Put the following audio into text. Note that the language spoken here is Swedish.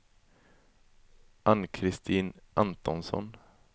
Ann-Kristin Antonsson